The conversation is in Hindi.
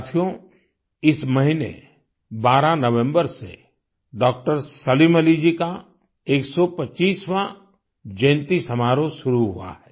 साथियो इस महीने 12 नवंबर से डॉक्टर सलीम अली जी का 125वाँ जयंती समारोह शुरू हुआ है